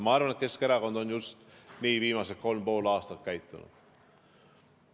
Ma arvan, et Keskerakond on just nii viimased kolm ja pool aastat käitunud.